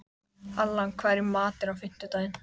Allan, hvað er í matinn á fimmtudaginn?